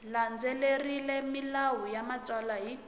landzelerile milawu ya matsalelo hi